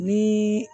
Ni